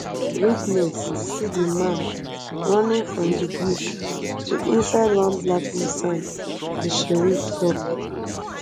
witness see di man running from di bush to inside one black nissan di sheriff tok